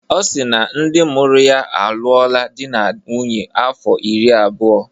Ọ si na ndị mụrụ ya alụọla di na nwunye afọ iri abụọ.